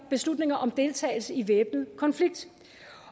beslutninger om deltagelse i væbnet konflikt